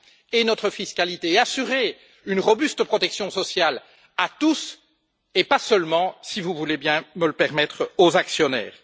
et notre fiscalité et assurer une protection sociale robuste à tous, et pas seulement si vous voulez bien me le permettre aux actionnaires.